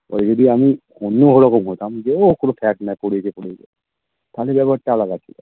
এবার যদি আমি অন্য রকম হতাম যে ও কোনো fact না তাহলে ব্যাপার টা আলাদা ছিল